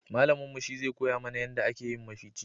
Malamin mu shi zai koya mana yanda a ke yin mafici